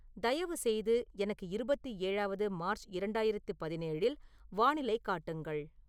தயவு செய்து எனக்கு இருபத்தி ஏழாவது மார்ச் இரண்டாயிரத்து பதினேழில் வானிலை காட்டுங்கள்